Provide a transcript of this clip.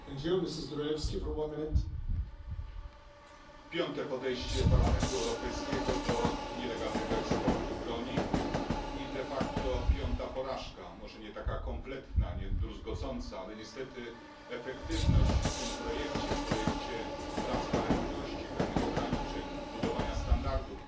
Panie Przewodniczący! To piąte podejście Parlamentu Europejskiego do nielegalnego eksportu broni i de facto piąta porażka. Może nie taka zupełna, niedruzgocąca, ale niestety efektywność w tym projekcie projekcie dotyczącym przejrzystości pewnych ograniczeń, budowania standardów,